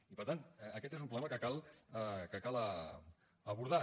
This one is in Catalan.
i per tant aquest és un problema que cal abordar